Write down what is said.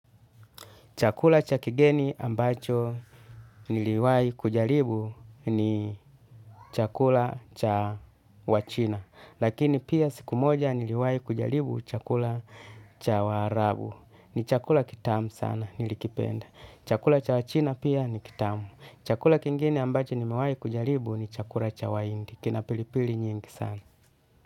Chakula cha kigeni ambacho niliwai kujalibu ni chakula cha wachina. Lakini pia siku moja niliwai kujalibu chakula cha waarabu. Ni chakula kitamu sana nilikipenda. Chakula cha wachina pia ni kitamu. Chakula kingine ambacho niliwai kujalibu ni chakula cha wahindi. Kina pilipili nyingi sana.